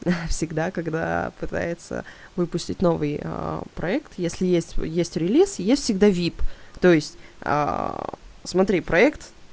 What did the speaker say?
всегда когда пытается выпустить новый проект если есть есть релис есть всегда вип то есть смотри проект